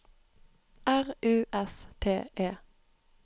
R U S T E